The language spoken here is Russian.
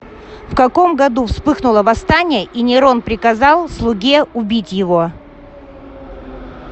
в каком году вспыхнуло восстание и нерон приказал слуге убить его